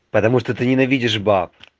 потому что ты ненавидишь баб